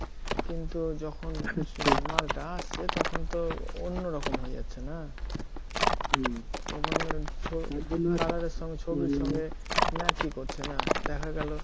কিন্তু যখন মালটা আসছে তখন তো অন্যরকম হয়ে যাচ্ছে না! হম ছবির সঙ্গে match ই করছে না দেখা গেল